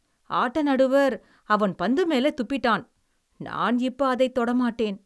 ஆட்ட நடுவர், அவன் பந்துமேல துப்பிட்டான். நான் இப்ப அதைத் தொட மாட்டேன்.